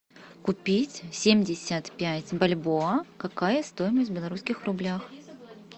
купить семьдесят пять бальбоа какая стоимость в белорусских рублях